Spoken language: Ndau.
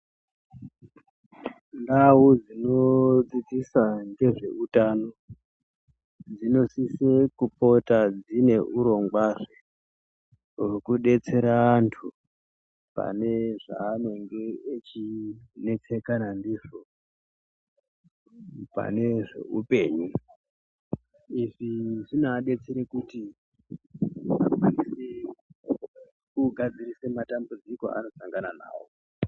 Ndau dzinodzidzisa ngezveutano dzinosise kupota dzine urongwazve wekudetsera antu pane zvavanenge vechinesekana ndizvo, panezveupenyu, izvi zvinoadetsere kuti akwanise kugadzire matambudziko avanosangana navo.